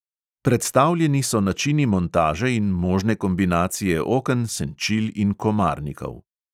Predstavljeni so načini montaže in možne kombinacije oken, senčil in komarnikov.